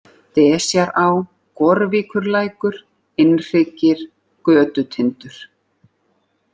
Desjará, Gorvíkurlækur, Innhryggir, Götutindur